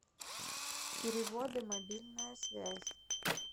переводы мобильная связь